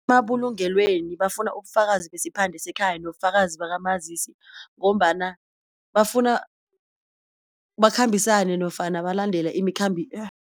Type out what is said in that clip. Emabulungelweni bafuna ubufakazi basiphande sekhaya nobufakazi bakamazisi ngombana bafuna bakhambisane nofana balandela .